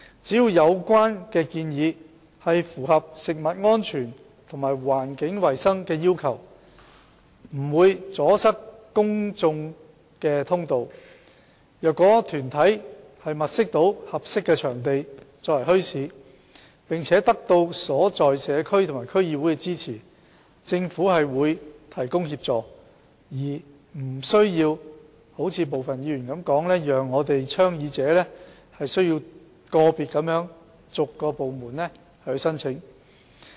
只要有關建議符合食物安全和環境衞生的要求，不阻塞公眾通道，而有關團體能物色合適的場地作為墟市，並得到所在社區及區議會支持，政府便會提供協助，而並非如部分議員所說，倡議者需要逐一向個別部門申請。